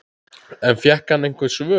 En fékk hann einhver svör?